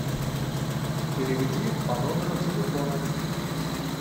переведи по номеру телефона